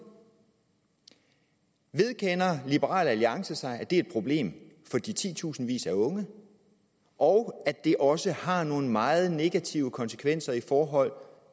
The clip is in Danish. vedkender liberal alliance sig at det er et problem for de titusindvis af unge og at det også har nogle meget negative konsekvenser i forhold